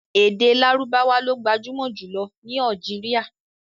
Èdè Lárúbáwá lo gbajúmọ̀ jùlọ ní Algeria.